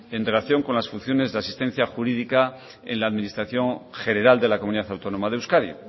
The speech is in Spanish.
en relación con las funciones de asistencia jurídica en la administración general de la comunidad autónoma de euskadi